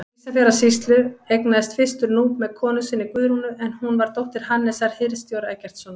Ísafjarðarsýslu, eignaðist fyrstur Núp með konu sinni, Guðrúnu, en hún var dóttir Hannesar hirðstjóra Eggertssonar.